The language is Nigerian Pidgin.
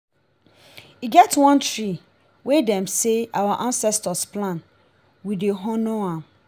e get one tree wey dem sey our ancestors plant we dey honour am.